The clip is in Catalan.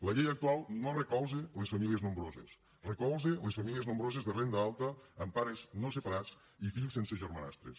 la llei actual no recolza les famílies nombroses recolza les famílies nombroses de renda alta amb pares no separats i fills sense germanastres